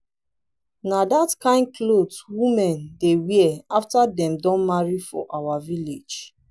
na that kyn cloth women dey wear after dem don marry for our village